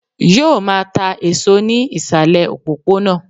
Yóò máa ta èso ní ìsàlè òpópónà